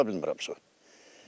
Tapa bilmirəm su.